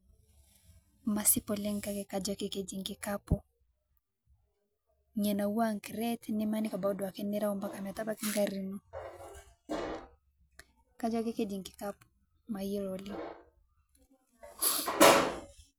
Masip oleng kake kajo ake keji nkikapu, niaa naua ncred nemaniki apaki duake nirao mpka metabaki ngari ino, kajo ake keji nkikapu mayiolo oleng.